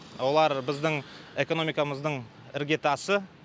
олар біздің экономикамыздың іргетасы